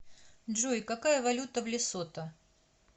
джой какая валюта в лесото